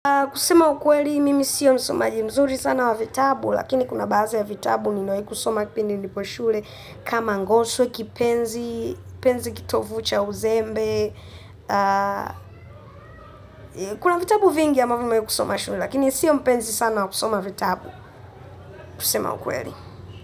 Kusema ukweli, mimi siyo msomaji mzuri sana wa vitabu, lakini kuna baadhi ya vitabu, nimewahi kusoma kipindi nipo shule kama ngoso, kipenzi, kipenzi kitovu cha uzembe. Kuna vitabu vingi ambavyo nimewahi kusoma shule, lakini siyo mpenzi sana wa kusoma vitabu. Kusema ukweli.